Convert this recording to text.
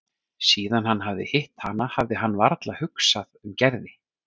Síðan hann hafði hitt hana hafði hann varla hugsað um Gerði.